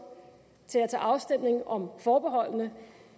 til at tage afstemning om forbeholdene